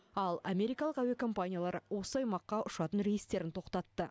ал америкалық әуе компаниялары осы аймаққа ұшатын рейстерін тоқтатты